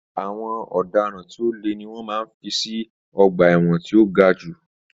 Àwọn ọ̀daràn tí o le ni wọ́n máa ń fí sí ọ̀gba ẹ̀wọ̀n tí o ga jù.